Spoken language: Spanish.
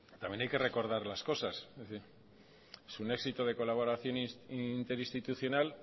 también hay que recordar las cosas es un éxito de colaboraciones interinstitucional